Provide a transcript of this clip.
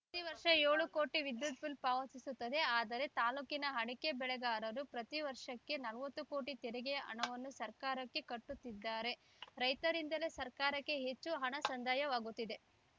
ಪ್ರತಿವರ್ಷ ಏಳು ಕೋಟಿ ವಿದ್ಯುತ್‌ ಬಿಲ್‌ ಪಾವತಿಸುತ್ತದೆ ಆದರೆ ತಾಲೂಕಿನ ಅಡಕೆ ಬೆಳೆಗಾರರು ಪ್ರತಿ ವರ್ಷಕ್ಕೆ ನಲವತ್ತು ಕೋಟಿ ತೆರಿಗೆಯ ಹಣವನ್ನು ಸರ್ಕಾರಕ್ಕೆ ಕಟ್ಟುತ್ತಿದ್ದಾರೆ ರೈತರಿಂದಲೇ ಸರ್ಕಾರಕ್ಕೆ ಹೆಚ್ಚು ಹಣ ಸಂದಾಯವಾಗುತ್ತಿದೆ